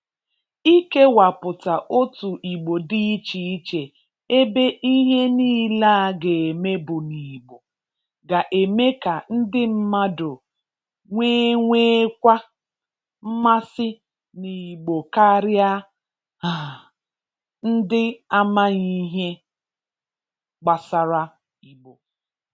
Ikewapụta otu Igbo dị iche iche ebe ihe niile a ga-eme bụ n'Igbo, ga-eme ka ndị mmadụ nwewekwa mmasị n'Igbo karịa um ndị amaghị ihe gbasara Igbo